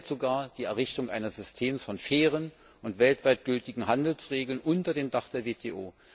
Er gefährdet sogar die Errichtung eines Systems von fairen und weltweit gültigen Handelsregeln unter dem Dach der WTO.